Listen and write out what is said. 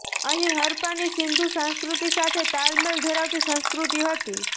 અહીં હરપ્પાની સિંધુ સંસ્કૃતિ સાથે તાલમેલ ધરાવતી સંસ્કૃતિ હતી